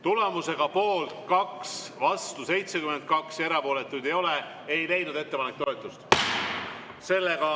Tulemusega poolt 2, vastu 72 ja erapooletuid ei ole, ei leidnud ettepanek toetust.